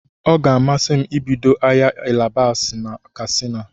Ọ ga-amasi m ibido ahịa alibasa na Katsina.